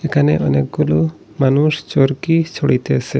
এখানে অনেকগুলো মানুষ চরকি চড়িতেসে।